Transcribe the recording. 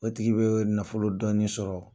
o tigi bɛ nafolo dɔɔnin sɔrɔ